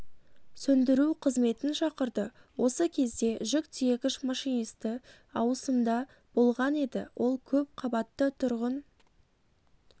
сөндіру қызметін шақырды осы кезде жүк тиегіш машинисті ауысымда болған еді ол көп қабатты тұрғын